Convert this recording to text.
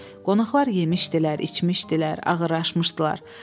Qonaqlar yemişdilər, içmişdilər, ağırlaşmışdılar.